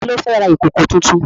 Ta ló fẹ́ ra ìkòkò tuntun?